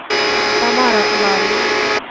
тамара ларина